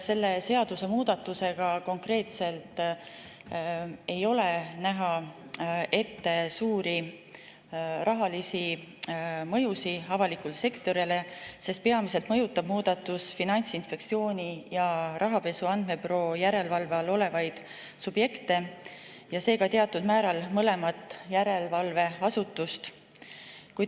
Selle seadusemuudatusega ei ole näha ette suuri rahalisi mõjusid avalikule sektorile, sest peamiselt mõjutab muudatus Finantsinspektsiooni ja Rahapesu Andmebüroo järelevalve all olevaid subjekte, seega teatud määral mõlemat järelevalveasutust.